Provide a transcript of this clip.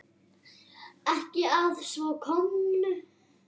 Ekki að svo komnu.